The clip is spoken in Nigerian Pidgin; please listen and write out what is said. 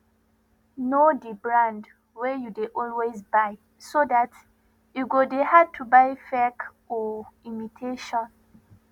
know di brand wey you dey always buy so dat e go dey hard to buy fake or imitation